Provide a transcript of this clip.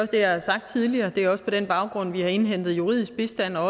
det jeg har sagt tidligere og det er også på den baggrund vi har indhentet juridisk bistand og